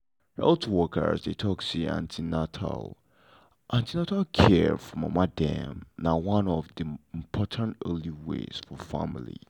health workers dey talk say an ten atal an ten atal care for mama dem na one of the important early way for families.